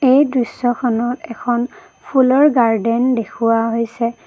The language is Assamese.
এই দৃশ্যখনত এখন ফুলৰ গাৰ্ডেন দেখুৱা হৈছে।